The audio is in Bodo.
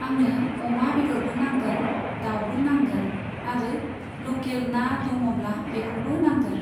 आंनो अमा बेदरबो नांगोन दाउबो नांगोन आरो लकेल ना दङब्ला बेखौबो नांगोन।